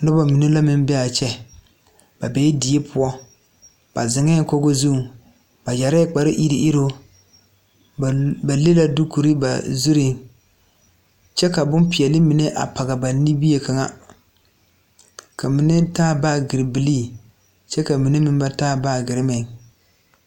Noba mine la be a kyɛ. Die pʋɔ la ka ba be ziŋ Kogi zu kyɛ su kpareteɛteɛ. Ba le la dukure ba zure pʋɔ kyɛ ka bon peɛle pɔg ba niŋe. Ba mine taala baage bilii kyɛ ka bamine meŋ ba taa